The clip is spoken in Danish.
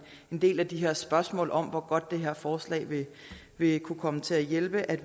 del af de her spørgsmål om hvor godt det her forslag vil kunne komme til at hjælpe